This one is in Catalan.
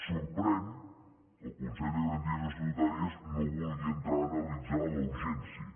sorprèn que el consell de garanties estatutàries no vulgui entrar a analitzar la urgència